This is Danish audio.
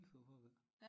Fy for pokker da